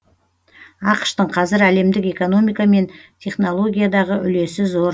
ақш тың қазір әлемдік экономика мен технологиядағы үлесі зор